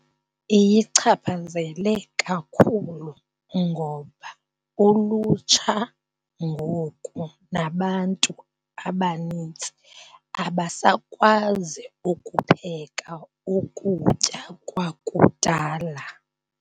Iyichaphazele kakhulu ngoba ulutsha ngoku nabantu abanintsi abasakwazi ukupheka ukutya kwakudala.